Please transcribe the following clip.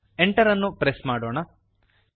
enter ಅನ್ನು press ಮಾಡೋಣ